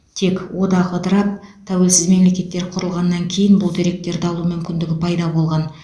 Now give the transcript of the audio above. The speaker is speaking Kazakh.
тек одақ ыдырап тәуелсіз мемлекеттер құрылғаннан кейін бұл деректерді алу мүмкіндігі пайда болған